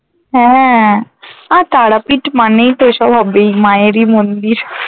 হ্যাঁ আর তারাপীঠ মানেই তো ওসব হবেই মায়ের ই মন্দির